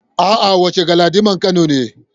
A'a, wancen Galadiman Kano ne.